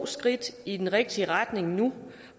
skridt i den rigtige retning nu